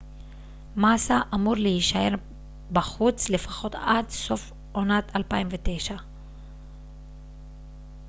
מאסה אמור להישאר בחוץ לפחות עד סוף עונת 2009